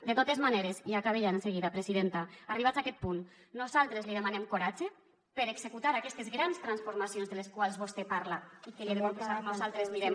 de totes maneres i acabe ja enseguida presidenta arribats a aquest punt nosaltres li demanem coratge per executar aquestes grans transformacions de les quals vostè parla i que li ho he de confessar nosaltres mirem